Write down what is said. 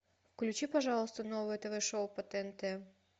включи пожалуйста новое тв шоу по тнт